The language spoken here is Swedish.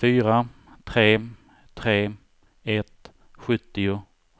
fyra tre tre ett sjuttio